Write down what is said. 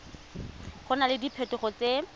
go na le diphetogo tse